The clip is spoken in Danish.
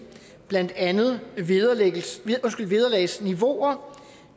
blandt andet vederlagsniveauer